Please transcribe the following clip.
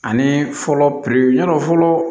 Ani fɔlɔ piriw y'a dɔ fɔlɔ